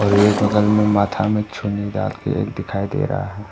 और ये बगल में माथा में चुन्नी डाल के एक दिखाई दे रहा है।